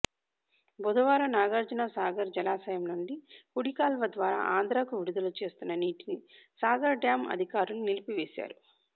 బుధవారం నాగార్జునసాగర్ జలాశయం నుండి కుడికాల్వ ద్వారా ఆంధ్రకు విడుదల చేస్తున్న నీటిని సాగర్ డ్యాం అధికారులు నిలిపివేశారు